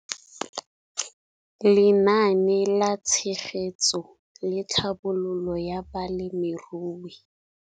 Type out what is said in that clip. Lenaane la Tshegetso le Tlhabololo ya Balemirui.